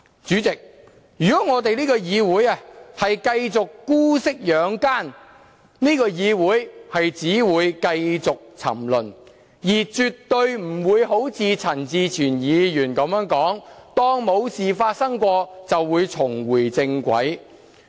主席，如果這個議會繼續姑息養奸，只會繼續沉淪，絕對不會如陳志全議員所說般當作沒事發生過，便會重回正軌。